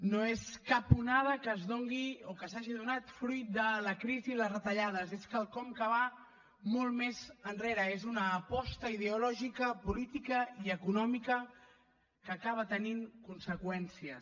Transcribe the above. no és cap onada que es doni o que s’hagi donat fruit de la crisi i les retallades és quelcom que va molt més enrere és una aposta ideològica política i econòmica que acaba tenint conseqüències